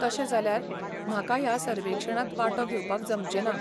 तशें जाल्यार, म्हाका ह्या सर्वेक्षणांत वांटो घेवपाक जमचें ना.